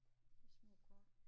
Det små kort